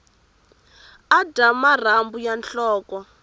a dya marhambu ya nhloko